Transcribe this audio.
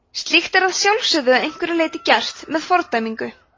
slíkt er að sjálfsögðu að einhverju leyti gert með fordæmingu